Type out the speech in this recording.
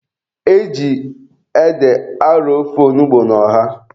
E ji ede arọ ofe onugbu na ọha.